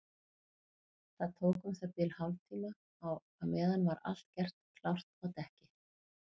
Það tók um það bil hálftíma og á meðan var allt gert klárt á dekki.